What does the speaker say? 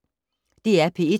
DR P1